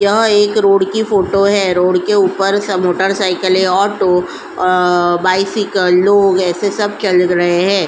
यहाँ एक रोड की फोटो है रोड के ऊपर स मोटरसाइकिले ऑटो अ बाइसिकल लोग ऐसे सब चल्ग रहे है।